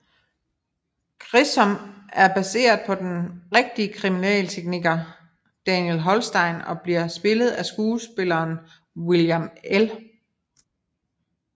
Grissom er baseret på den rigtige kriminaltekniker Daniel Holstein og bliver spillet af skuespilleren William L